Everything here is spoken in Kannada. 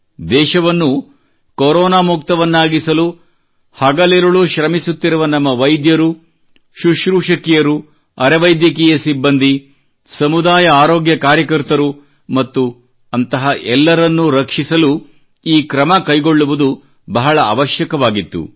ದೇಶವನ್ನು ಕೊರೋನಾ ಮುಕ್ತವನ್ನಾಗಿಸಲು ಹಗಲಿರುಳು ಶ್ರಮಿಸುತ್ತಿರುವ ನಮ್ಮ ವೈದ್ಯರು ಸುಶ್ರೂಷಕಿಯರು ಅರೆವೈದ್ಯಕೀಯ ಸಿಬ್ಬಂದಿ ಸಮುದಾಯ ಆರೋಗ್ಯ ಕಾರ್ಯಕರ್ತರು ಮತ್ತು ಅಂತಹ ಎಲ್ಲರನ್ನು ರಕ್ಷಿಸಲು ಈ ಕ್ರಮ ಕೈಗೊಳ್ಳುವುದು ಬಹಳ ಅವಶ್ಯಕವಾಗಿತ್ತು